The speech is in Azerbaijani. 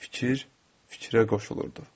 Fikir, fikrə qoşulurdu.